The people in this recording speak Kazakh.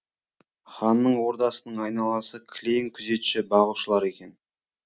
ханның ордасының айналасы кілең күзетші бағушылар екен